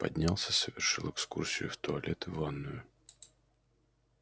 поднялся совершил экскурсию в туалет и ванную